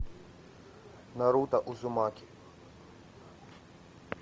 наруто узумаки